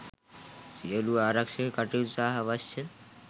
සියලු ආරක්‍ෂක කටයුතු සහ අවශ්‍ය